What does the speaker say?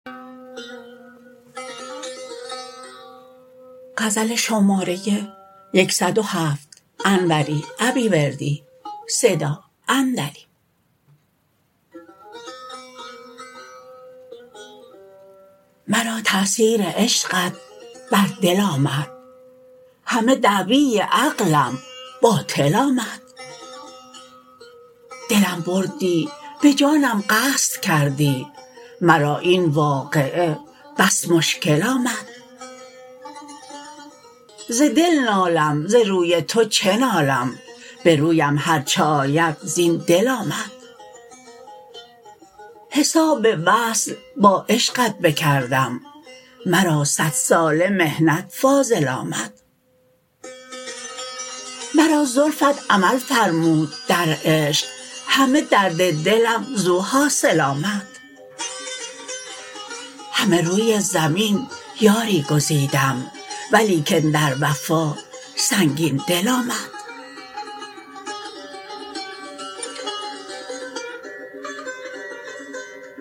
مرا تاثیر عشقت بر دل آمد همه دعوی عقلم باطل آمد دلم بردی به جانم قصد کردی مرا این واقعه بس مشکل آمد ز دل نالم ز روی تو چه نالم برویم هرچه آید زین دل آمد حساب وصل با عشقت بکردم مرا صد ساله محنت فاضل آمد مرا زلفت عمل فرمود در عشق همه درد دلم زو حاصل آمد همه روی زمین یاری گزیدم ولیکن در وفا سنگین دل آمد